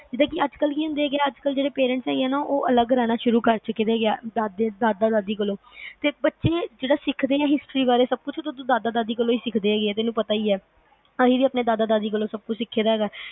ਦੇਖ ਅੱਜ ਕੱਲ ਨੀ ਹੁੰਦਾ ਆ ਕਿ ਅੱਜ ਕੱਲ ਜਿਹੜੀ parents ਜੋ ਹੁੰਦਾ ਅਲੱਗ ਰਹਿਣਾ ਸ਼ੁਰੂ ਕਰ ਦਿੰਦੇ ਆ ਦਾਦਾ ਦਾਦੀ ਕੋਲੋਂ, ਤੇ ਬੱਚਿਆਂ ਨੇ ਜਿਹੜਾ ਸਿੱਖਦੇ ਆ history ਬਾਰੇ ਦਾਦਾ ਦਾਦੀ ਤੋਂ ਈ ਸਿੱਖਦੇ ਆ ਤੈਨੂੰ ਪਤਾ ਅਸੀ ਵੀ ਆਪਣੇ ਦਾਦਾ ਦਾਦੀ ਤੋਂ ਸਬ ਕੁਛ ਸਿੱਖੀ ਦਾ ਈ ਹੈਗਾ